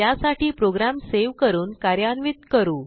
त्यासाठी program save करून कार्यान्वित करू